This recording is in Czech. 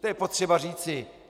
To je potřeba říci.